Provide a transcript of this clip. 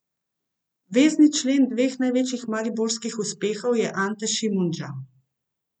Vezni člen dveh največjih mariborskih uspehov je Ante Šimundža.